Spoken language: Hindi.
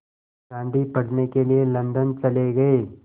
गांधी पढ़ने के लिए लंदन चले गए